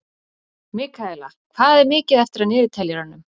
Mikaela, hvað er mikið eftir af niðurteljaranum?